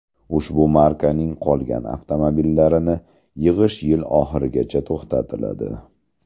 Ushbu markaning qolgan avtomobillarini yig‘ish yil oxirigacha to‘xtatiladi.